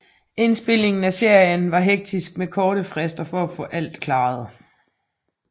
Indspilningen af serien var hektisk med korte frister for at få alt klart